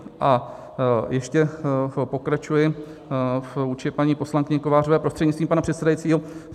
A ještě pokračuji vůči paní poslankyni Kovářové prostřednictvím pana předsedajícího.